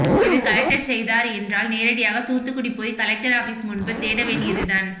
இது கலெக்டர் செய்தார் என்றால் நேரடியாக தூத்துக்குடி போயி கலெக்டர் ஆபீஸ் முன்பு தேட வேண்டியது தான்